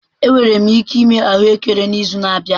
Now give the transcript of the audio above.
Enwere m ike ịme ahụekere n'izu na-abịa.